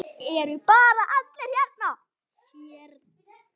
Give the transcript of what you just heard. Eru bara allir hérna?